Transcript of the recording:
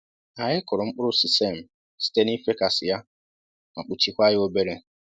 Anyị kụrụ mkpụrụ sisem site n'ifekasị ya ma kpuchikwa ya obere